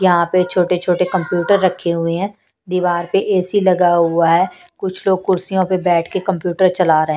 यहां पे छोटे-छोटे कंप्यूटर रखे हुए हैं दीवार पर ए_सी लगा हुआ है कुछ लोग कुर्सियों पर बैठ के कंप्यूटर चला रहे हैं।